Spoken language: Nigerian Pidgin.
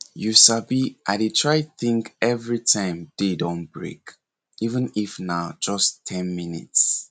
you sabi i dey try think every time day don break even if na just ten minutes